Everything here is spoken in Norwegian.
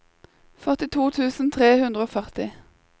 førtito tusen tre hundre og førti